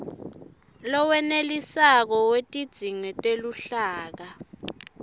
lowenetisako wetidzingo teluhlaka